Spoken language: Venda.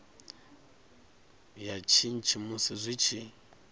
ya shishi musi zwi tshi